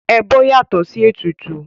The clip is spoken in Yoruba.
Ẹbọ yàtọ̀ sí ètùtù.